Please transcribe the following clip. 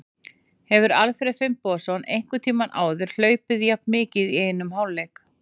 Hefur Alfreð Finnbogason einhvern tímann áður hlaupið jafn mikið í einum hálfleik?